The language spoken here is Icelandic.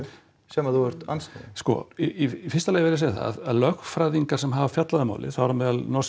sem þú ert andsnúinn sko í fyrsta lagi verð segja það að lögfræðingar sem hafa fjallað um málið þar á meðal norski